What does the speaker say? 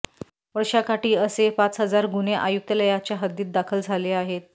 वर्षाकाठी असे पाच हजार गुन्हे आयुक्तालयाच्या हद्दीत दाखल झाले आहेत